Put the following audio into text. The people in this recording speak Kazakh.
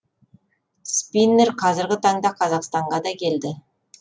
спиннер қазіргі таңда қазақстанға да келді